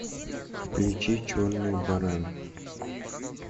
включи черный баран